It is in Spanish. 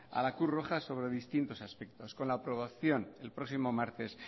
a la cruz roja sobre distintos aspectos con la aprobación el próximo martes